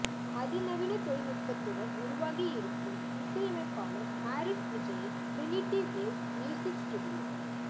அதிநவீன தொழில் நுட்பத்துடன் உருவாகியிருக்கும் இசையமைப்பாளர் மாரீஸ் விஜய்யின் டிரினிட்டி வேவ்ஸ் மியூசிக் ஸ்டுடியோ